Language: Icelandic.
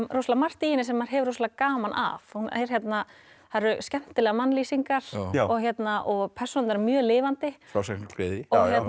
rosalega margt í henni sem maður hefur rosalega gaman af það eru skemmtilegar mannlýsingar og persónurnar eru mjög lifandi frásagnargleði